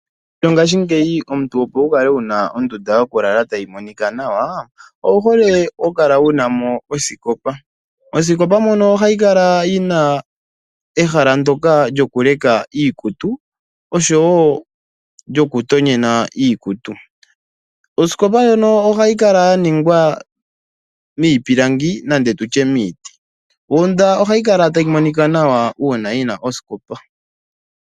Mongashingeyi omuntu opo wu kale wuna ondunda yokulala tayi monika nawa owu hole oku kala wunamo osikopa. Osikopa mono ohayi kala yina ehala ndjoka lyoku leka iikutu oshowo lyoku tonyena iikutu. Osikopa ohayi kala yaningwa miipilangi nando tutye miiti . Ondundu ohayi kala tayi monika nawa uuna yina osikopa.